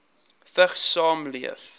vigs saamleef